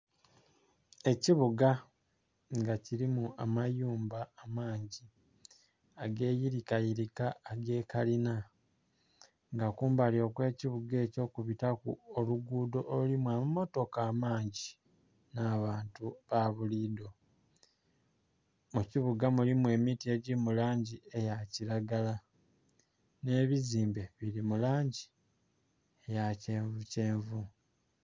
Ekibuga nga kilimu amayumba amangi ageyirika yirika agekalina nga kumbali okwe kibuga ekyo kubitaku olugudho olulimu amamotoka amangi nha bantu babulidho. Mukibuga mulimu emiti egili mu langi eya kilagala nhe bizimbe bili mulangi eya kyenvu kyenvu.